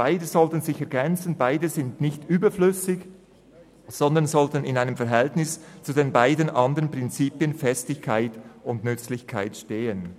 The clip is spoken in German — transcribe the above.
Beide sollten sich ergänzen und sind nicht überflüssig, sondern sollten in einem Verhältnis zu den beiden andern Prinzipien Festigkeit und Nützlichkeit stehen.